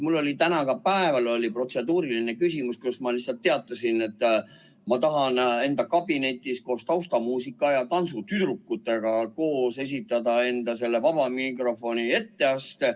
Mul oli täna ka päeval protseduuriline küsimus, kus ma lihtsalt teatasin, et ma tahan enda kabinetis koos taustamuusika ja tantsutüdrukutega esitada enda vaba mikrofoni etteaste.